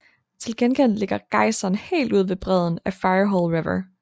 Til gengæld ligger gejseren helt ude ved bredden af Firehole River